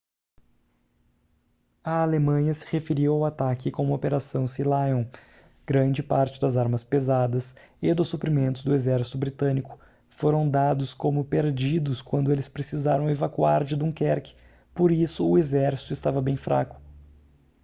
a alemanha se referiu ao ataque como operação sealion grande parte das armas pesadas e dos suprimentos do exército britânico foram dados como perdidos quando eles precisaram evacuar de dunquerque por isso o exército estava bem fraco